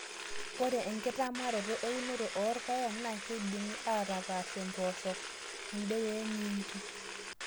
Ore enkitamaroto eunoto oorpaek nakeidimi atapashie mpooshok, kundee wemiingi.